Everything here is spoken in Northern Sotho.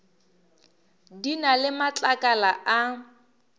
di na le matlakala a